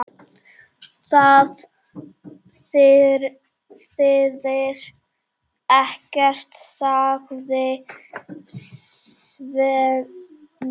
Það þýðir ekkert, sagði Svenni.